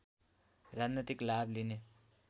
राजनैतिक लाभ लिने